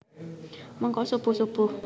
Mengko subuh subuh